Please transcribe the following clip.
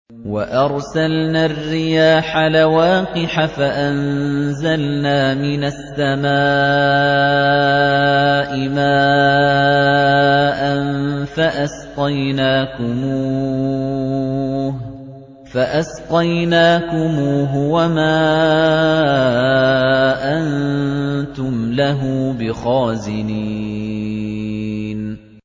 وَأَرْسَلْنَا الرِّيَاحَ لَوَاقِحَ فَأَنزَلْنَا مِنَ السَّمَاءِ مَاءً فَأَسْقَيْنَاكُمُوهُ وَمَا أَنتُمْ لَهُ بِخَازِنِينَ